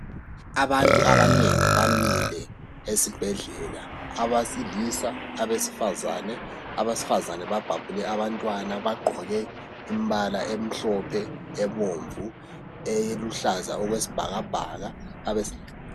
Abantu abanengi bamile esibhedlela. Abesilisa, abesifazane. Abesifazane babhabhule abantwana bagqoke imbala emhlophe, ebomvu, eluhlaza okwesbhakabhaka, abesil ...